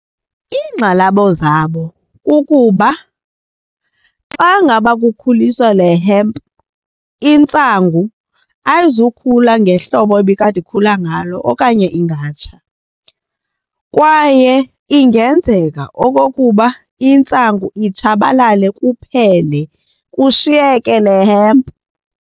Iingxalabo zabo kukuba xa ngaba kukhuliswa le hemp intsangu ayizukhula ngehlobo ebikade ikhula ngalo okanye ingatsha kwaye ingenzeka okokuba intsangu itshabalale kuphele kushiyeke le hemp.